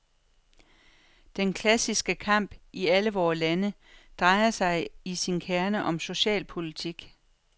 Den klassiske kamp i alle vore lande, drejer sig i sin kerne om socialpolitik.